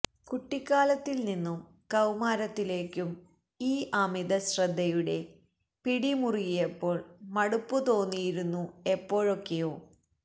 കുട്ടിക്കാലത്തിൽ നിന്നും കൌമാരത്തിലേക്കും ഈ അമിത ശ്രദ്ധയുടെ പിടി മുറുകിയപ്പോൾ മടുപ്പ് തോന്നിയിരുന്നു എപ്പോഴൊക്കെയൊ